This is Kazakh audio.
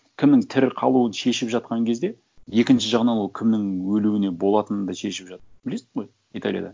кімнің тірі қалуын шешіп жатқан кезде екінші жағынан ол кімнің өлуіне болатынын да шешіп жатыр білесің ғой италияда